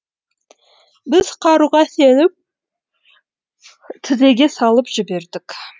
біз қаруға сеніп тізеге салып жібердік